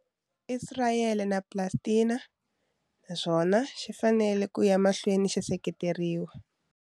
Isirayele na Palestina, naswona xi fanele ku ya emahlweni xi seketeriwa.